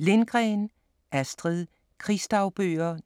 Lindgren, Astrid: Krigsdagbøger